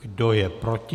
Kdo je proti?